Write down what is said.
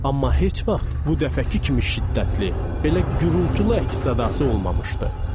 Amma heç vaxt bu dəfəki kimi şiddətli, belə gürultulu əks-sədası olmamışdı.